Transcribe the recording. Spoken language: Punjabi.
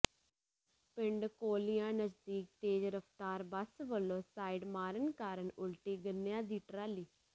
ਪਿੰਡ ਕੋਲੀਆਂ ਨਜ਼ਦੀਕ ਤੇਜ਼ ਰਫਤਾਰ ਬੱਸ ਵੱਲੋਂ ਸਾਈਡ ਮਾਰਨ ਕਾਰਨ ਉਲਟੀ ਗੰਨਿਆਂ ਦੀ ਟਰਾਲੀ